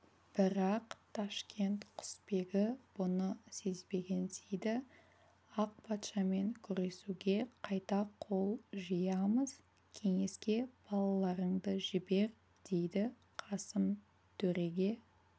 бірақ ташкент құсбегі бұны сезбегенсиді ақ патшамен күресуге қайта қол жиямыз кеңеске балаларыңды жібер дейді қасым төреге